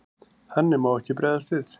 Þannig má ekki bregðast við.